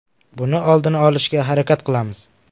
Buni oldini olishga harakat qilamiz.